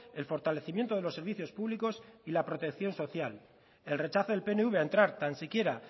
el fortalecimiento de los servicios públicos y la protección social el rechazo del pnv a entrar tan siquiera